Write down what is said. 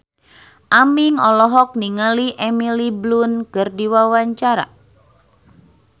Aming olohok ningali Emily Blunt keur diwawancara